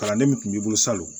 Kalanden min tun b'i bolo salon